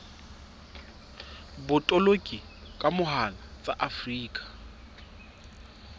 botoloki ka mohala tsa afrika